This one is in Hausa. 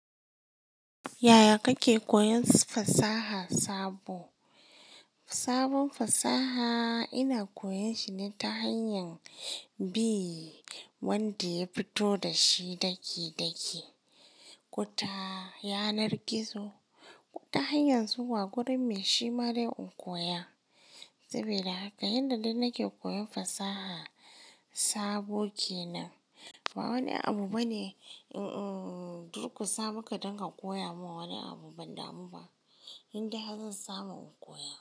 Yaya kake koyan fasaha sabo? Sabon fasaha ina koyan shi ne ta hanyar bi wanda ya fito da shi daki-daki. Kuta, yanar gizo, ta hanyar zuwa gurin me shi ma dai in koya. Sabida, haka yanda dai nake koyan fasaha sabo ke nan. Ba wani abu bane, in- dur ku sama dan danka koya mun wani abu, ban damu ba. Indai har zan samu in koya.